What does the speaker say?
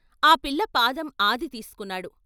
ఆ పిల్ల పాదం ఆది తీసుకు న్నాడు.